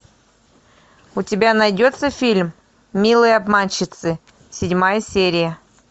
у тебя найдется фильм милые обманщицы седьмая серия